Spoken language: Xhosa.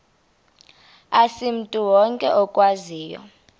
asimntu wonke okwaziyo